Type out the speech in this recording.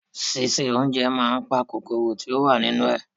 Ṣíṣe oúnjẹ máa n pa kòkòrò tí o wa nínú ẹ.